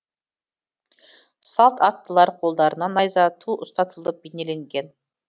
салт аттылар қолдарына найза ту ұстатылып бейнеленген